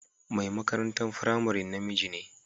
Mai makarantan firamarin na miji ne.